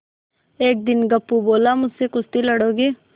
एक दिन गप्पू बोला मुझसे कुश्ती लड़ोगे